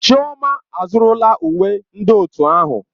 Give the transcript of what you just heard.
Chioma azụrụla uwe ndị otu ahụ.